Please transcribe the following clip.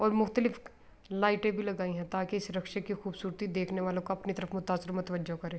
اور مختلف لائٹے بھی لگائی ہے۔ تاکی اس رکشے کی خوبصورت دیکھنےوالو کو اپنی طرف متاثر اور تواججوہ کرے--